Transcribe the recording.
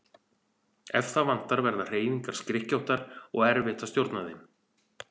Ef það vantar verða hreyfingar skrykkjóttar og erfitt að stjórna þeim.